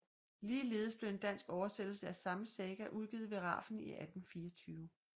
Ligeledes blev en dansk oversættelse af samme saga udgivet ved Rafn 1824